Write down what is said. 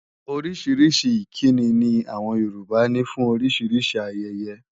Orísìírísìí ìkíni ni àwọn Yorùbá ní fún oríṣiríṣi ayẹyẹ.